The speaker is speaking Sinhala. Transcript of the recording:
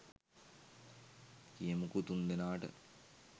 කියමුකෝ තුන්දෙනාට